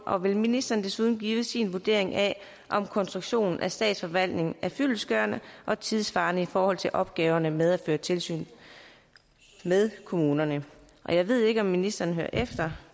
og vil ministeren desuden give sin vurdering af om konstruktionen af statsforvaltningen er fyldestgørende og tidssvarende i forhold til opgaverne med at føre tilsyn med kommunerne jeg ved ikke om ministeren hører efter